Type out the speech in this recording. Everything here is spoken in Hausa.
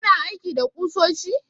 Kana aiki da ƙusoshi?